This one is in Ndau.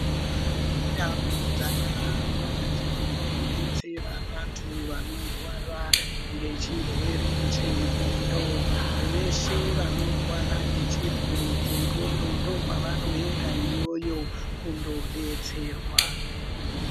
Kune ndau dzakakwa dzinodetsera vantu vanorwara nechirwere chendxondo veshe vanorwara nechirwere chendxondo ndokwavanoenda iyoyo kundodetserwa.